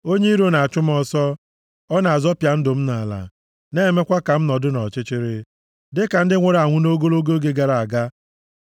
Onye iro na-achụ m ọsọ, ọ na-azọpịa ndụ m nʼala; na-emekwa ka m nọdụ nʼọchịchịrị, dịka ndị nwụrụ anwụ nʼogologo oge gara aga.